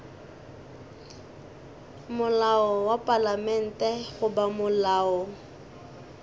molao wa palamente goba molao